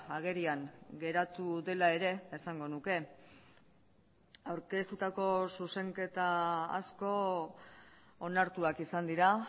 agerian geratu dela ere esango nuke aurkeztutako zuzenketa asko onartuak izan dira